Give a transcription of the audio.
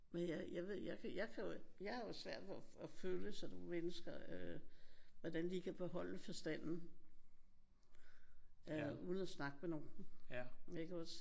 Men jeg jeg ved jeg kan jeg kan jo jeg har jo svært ved at føle sådan nogle mennesker. Hvordan de kan beholde forstanden øh uden at snakke med nogen iggås?